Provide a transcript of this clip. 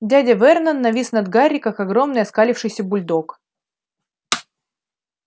дядя вернон навис над гарри как огромный оскалившийся бульдог